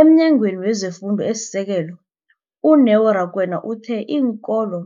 EmNyangweni wezeFundo esiSekelo, u-Neo Rakwena, uthe iinkolo